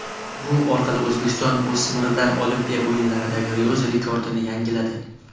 Bu orqali O‘zbekiston o‘smirlar Olimpiya o‘yinlaridagi o‘z rekordini yangiladi.